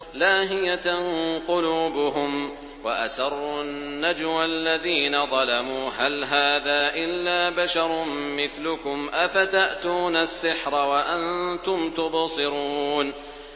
لَاهِيَةً قُلُوبُهُمْ ۗ وَأَسَرُّوا النَّجْوَى الَّذِينَ ظَلَمُوا هَلْ هَٰذَا إِلَّا بَشَرٌ مِّثْلُكُمْ ۖ أَفَتَأْتُونَ السِّحْرَ وَأَنتُمْ تُبْصِرُونَ